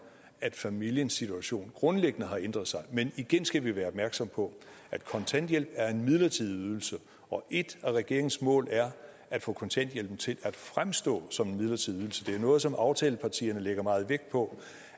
at familiens situation grundlæggende har ændret sig men igen skal vi være opmærksomme på at kontanthjælp er en midlertidig ydelse og et af regeringens mål er at få kontanthjælpen til at fremstå som en midlertidig ydelse det er noget som aftalepartierne lægger meget vægt på